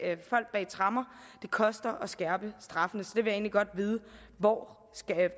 tremmer det koster at skærpe straffene så jeg vil egentlig godt vide hvor